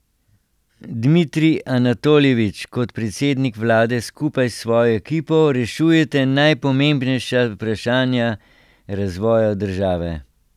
Dmitrij Anatoljevič, kot predsednik vlade skupaj s svojo ekipo rešujete najpomembnejša vprašanja razvoja države.